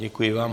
Děkuji vám.